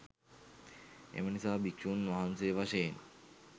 එම නිසා භික්‍ෂූන් වහන්සේ වශයෙන්